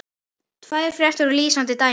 Tvær fréttir eru lýsandi dæmi.